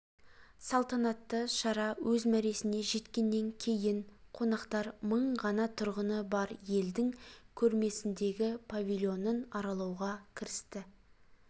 салтанатты шара өз мәресіне жеткеннен кейін қонақтар мың ғана тұрғыны бар елдің көрмесіндегі павильонын аралауға кірісті